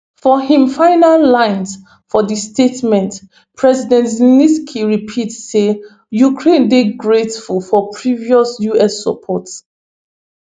for im final lines for di statement president zelensky repeat say ukraine dey grateful for previous us support